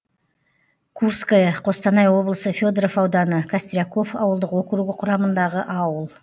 курское қостанай облысы федоров ауданы костряков ауылдық округі құрамындағы ауыл